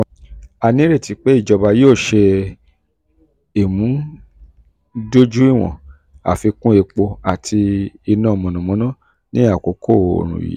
a nireti pe ijọba yoo ṣe imudojuiwọn afikun epo ati ina mọnamọna ni akoko ooru yii.